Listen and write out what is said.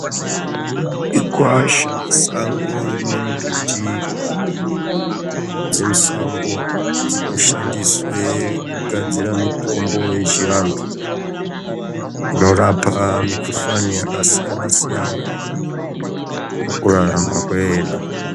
Igwasha, sango rinembiti dzemusango, dzinoshandiswe kugadzira mitombo yechiantu, inorapa mikuhlani yakasiyana-siyana pakurarama kwedu.